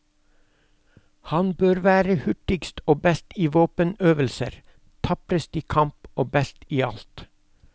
Han bør være hurtigst og best i våpenøvelser, taprest i kamp og best i alt.